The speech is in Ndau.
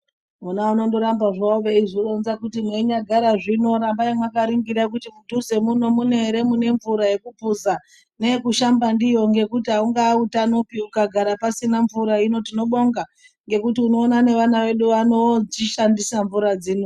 Vona vanondoramba zvavo veizvironza kuti mwwinyagara zvino rambai mwakaringira kuti mudhuze muno mune ere mune mvura yakuphuza neyekushamba ndiyo ngekuti aungaa utanopi ukagara pasina mvura hino tinobonga ngekuti unoona neana edu anochishandisa nemvura dzino.